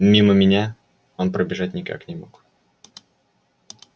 мимо меня он пробежать никак не мог